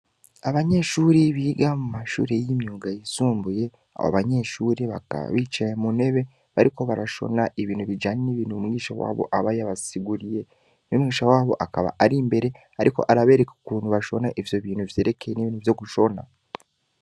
Abanyeshuri biga mu mashuri y'imyuga yisumbuye abo abanyeshuri bakaa bicaye mu nebe bariko barashona ibintu bijane n'ibintu umwisha wabo aba yabasiguriye n'umwisha wabo akaba ari imbere, ariko arabereka ukuntu bashona ivyo bintu vyerekeye n'ibintu vyo gushona.